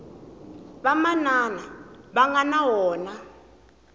vamanana va nga na wona